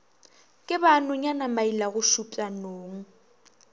ke ba nonyana mailagošupša nong